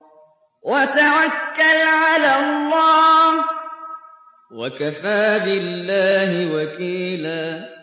وَتَوَكَّلْ عَلَى اللَّهِ ۚ وَكَفَىٰ بِاللَّهِ وَكِيلًا